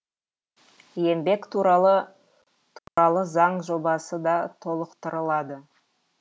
еңбек туралы туралы заң жобасы да толықтырылады